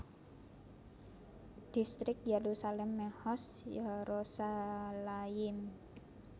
Dhistrik Yerusalem Mehoz Yerushalayim